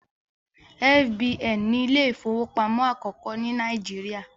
F.B.N ni Ilé ìfowópamọ́ akoko ní Nàìjíríà